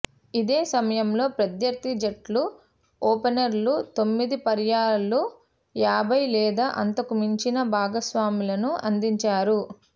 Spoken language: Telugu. ఇదే సమయంలో ప్రత్యర్థి జట్ల ఓపెనర్లు తొమ్మిది పర్యాయాలు యాభై లేదా అంతకు మించిన భాగస్వామ్యాలను అందించారు